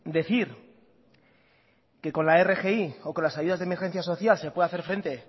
decir que con la rgi o con las ayudas de emergencia social se puede hacer frente